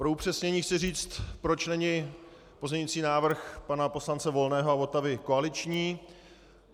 Pro upřesnění chci říci, proč není pozměňující návrh pana poslance Volného a Votavy koaliční.